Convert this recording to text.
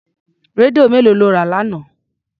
Rédíò mélòó lọ rà lánàá?